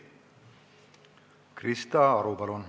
Krista Aru, palun!